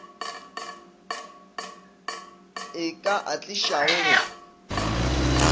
e ka a tlišago go